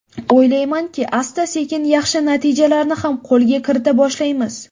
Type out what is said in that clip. O‘ylaymanki, asta-sekin yaxshi natijalarni ham qo‘lga kirita boshlaymiz.